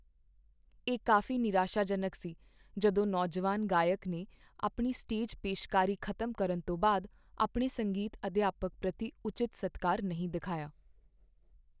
ਇਹ ਕਾਫੀ ਨਿਰਾਸ਼ਾਜਨਕ ਸੀ ਜਦੋਂ ਨੌਜਵਾਨ ਗਾਇਕ ਨੇ ਆਪਣੀ ਸਟੇਜ ਪੇਸ਼ਕਾਰੀ ਖ਼ਤਮ ਕਰਨ ਤੋਂ ਬਾਅਦ ਆਪਣੇ ਸੰਗੀਤ ਅਧਿਆਪਕ ਪ੍ਰਤੀ ਉਚਿਤ ਸਤਿਕਾਰ ਨਹੀਂ ਦਿਖਾਇਆ।